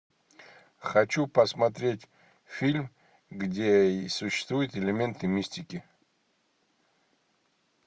хочу посмотреть фильм где существуют элементы мистики